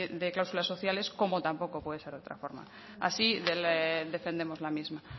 de cláusulas sociales como tampoco puede ser de otra forma así defendemos la misma